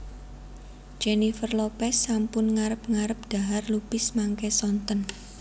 Jennifer Lopez sampun ngarep ngarep dhahar lupis mangke sonten